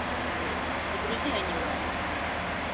загрузи аниме